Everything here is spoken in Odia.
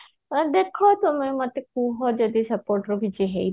ହଉ ଦେଖା ତମେ ମତେ କୁହ ଯଦି କିଛି ହେଇପାରିବ